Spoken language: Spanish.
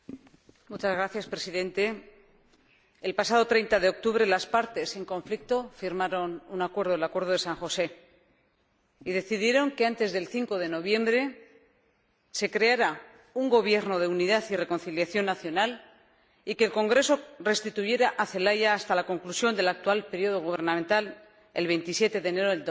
Señor Presidente, el pasado 30 de octubre las partes en conflicto firmaron un acuerdo, el Acuerdo de San José, y decidieron que antes del 5 de noviembre se creara un gobierno de unidad y reconciliación nacional y que el Congreso restituyera a Zelaya hasta la conclusión del actual periodo gubernamental, el 27 de enero de